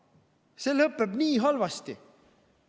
See lõpeb nii halvasti.